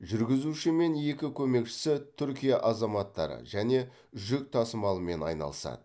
жүргізуші мен екі көмекшісі түркия азаматтары және жүк тасымалымен айналысады